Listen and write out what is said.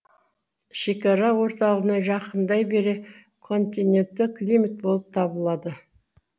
шекара орталығына жақындай бере континентті климат болып табылады